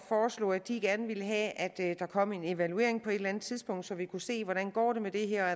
foreslå at de gerne ville have at der kom en evaluering på et eller andet tidspunkt så vi kunne se hvordan det går med det her